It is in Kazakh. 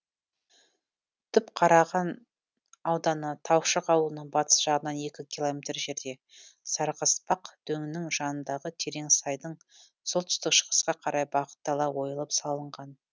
түпқараған ауданы таушық ауылының батыс жағынан екі километр жерде сарықаспақ дөңінің жанындағы терең сайдың солтүстік шығысқа қарай бағыттала ойылып салынған